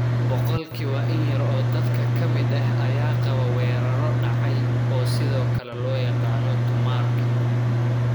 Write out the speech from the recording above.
Boqolkiiba in yar oo dadka ka mid ah ayaa qaba weerarro dhacay, oo sidoo kale loo yaqaanno tumarkin.